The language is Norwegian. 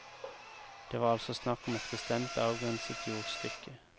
Det var altså snakk om et bestemt avgrenset jordstykke.